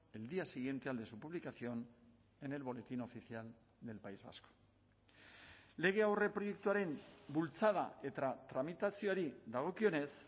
el día siguiente al de su publicación en el boletín oficial del país vasco lege aurreproiektuaren bultzada eta tramitazioari dagokionez